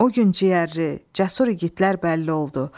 O gün ciyərli, cəsur igidlər bəlli oldu.